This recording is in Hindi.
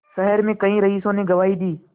शहर में कई रईसों ने गवाही दी